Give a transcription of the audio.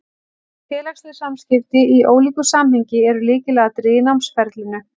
Félagsleg samskipti, í ólíku samhengi, eru lykilatriði í námsferlinu.